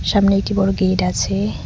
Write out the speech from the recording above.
সামনে একটি বড় গেট আছে।